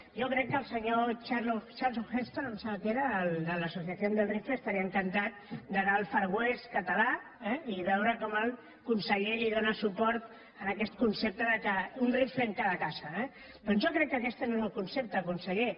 jo crec que el senyor charlton heston em sembla que era el de la asociación del rifle estaria encantat d’anar al far west català i veure com el conseller li dóna suport en aquest concepte d’ un rifle en cada casa eh doncs jo crec que aquest no és el concepte conseller